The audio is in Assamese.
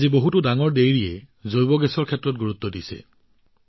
আজি বহুতো ডাঙৰ ডাঙৰ ডেইৰীয়ে বায়গেছৰ ওপৰত গুৰুত্ব আৰোপ কৰিছে